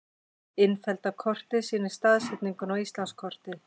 Innfellda kortið sýnir staðsetninguna á Íslandskorti.